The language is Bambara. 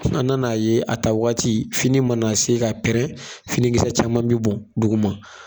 An nana ye a taa waati fini mana se ka pɛrɛn finikisɛ caman be bɔn duguma